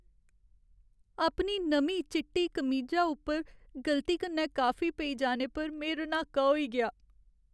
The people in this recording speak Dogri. अपनी नमीं चिट्टी कमीजा उप्पर गलती कन्नै काफी पेई जाने पर में रन्हाका होई गेआ।